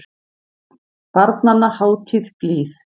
Barnanna hátíð blíð.